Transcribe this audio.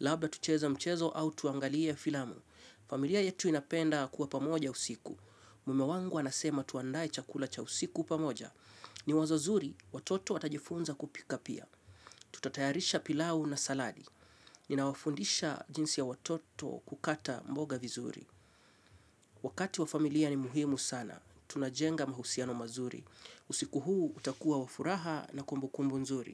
Labda tucheze mchezo au tuangalie filamu. Familia yetu inapenda kuwa pamoja usiku. Mume wangu anasema tuandae chakula cha usiku pamoja. Ni wazo zuri, watoto watajifunza kupika pia. Tutatayarisha pilau na saladi. Nina wafundisha jinsi ya watoto kukata mboga vizuri. Wakati wa familia ni muhimu sana. Tunajenga mahusiano mazuri. Usiku huu utakua wa furaha na kumbukumbu nzuri.